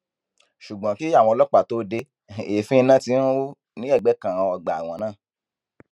ṣùgbọn kí àwọn ọlọpàá tóó de èéfín iná tí ń rú ní ẹgbẹ kan ọgbà ẹwọn náà